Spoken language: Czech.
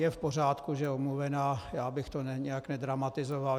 Je v pořádku, že je omluvena, já bych to nějak nedramatizoval.